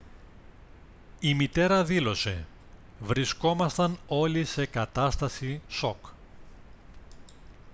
η μητέρα δήλωσε: «βρισκόμασταν όλοι σε κατάσταση σοκ»